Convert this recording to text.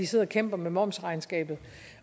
sidder og kæmper med momsregnskab